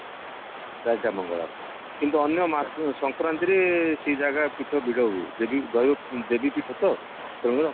ଚାରିଟା ମଙ୍ଗଳବାର କିନ୍ତୁ ଅନ୍ୟ ମା ସଂକ୍ରାନ୍ତିରେ ସେ ଜାଗା ପୀଠ ଭିଡ ହୁଏ ଦେବୀ ଦୟଦେଇ ପୀଠ ତ ତେଣୁ